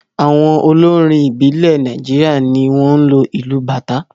Àwọn olórin ìbílẹ̀ Nàìjíríà ni wọ́n ń lo ìlù Bàtá.